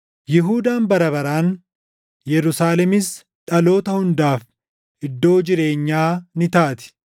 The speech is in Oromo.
Yihuudaan bara baraan, Yerusaalemis dhaloota hundaaf iddoo jireenyaa ni taati.